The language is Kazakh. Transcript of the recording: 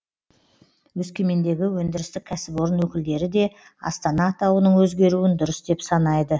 өскемендегі өндірістік кәсіпорын өкілдері де астана атауының өзгеруін дұрыс деп санайды